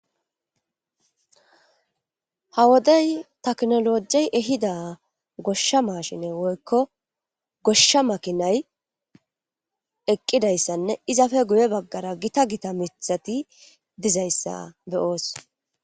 Ha wodey taknolojey ehida goshsha mashine woykko goshsha makinay eqqidayssanne izafe guye baggara gita gita mitati dizayssa beyoos